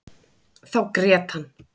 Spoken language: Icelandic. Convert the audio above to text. Þá grét hann.